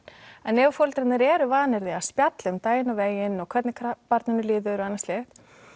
en ef að foreldrarnir eru vanir því að spjalla um daginn og veginn hvernig barninu líður og annað slíkt